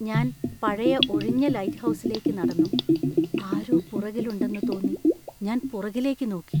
ഞാൻ പഴയ ഒഴിഞ്ഞ ലൈറ്റ്ഹൗസിലേക്ക്‌ നടന്നു, ആരോ പുറകില്‍ ഉണ്ടെന്നു തോന്നി ഞാൻ പുറകിലേക്ക് നോക്കി.